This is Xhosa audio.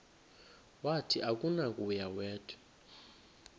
wathi akunakuya wedw